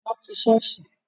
Wọn ti sọ́ọ̀sì